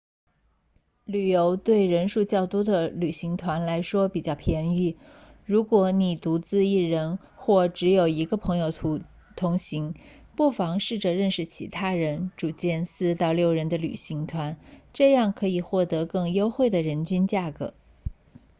旅游对人数较多的旅行团来说比较便宜如果你独自一人或只有一个朋友同行不妨试着认识其他人组建4到6人的旅行团这样可以获得更优惠的人均价格